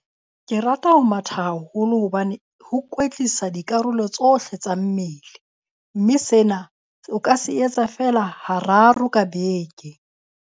Ke rata ho matha haholo hobane ho kwetlisa dikarolo tsohle tsa mmele. Mme sena o ka se etsa feela hararo ka beke.